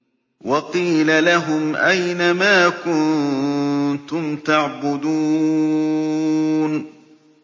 وَقِيلَ لَهُمْ أَيْنَ مَا كُنتُمْ تَعْبُدُونَ